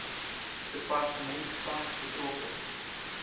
departement tans betrokke